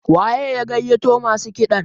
waye ya gaiyato masu kiɗan?